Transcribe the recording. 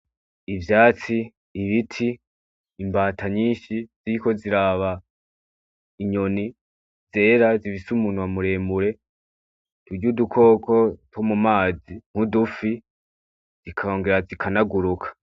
Ivyatsi, ibiti, imbata nyinshi ziriko ziraba inyoni zera. Zifise umunwa muremure, turya udukoko two mumazi nk'udufi, zikongera zikanaguruka.